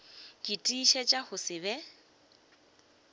ke tiišetša go se be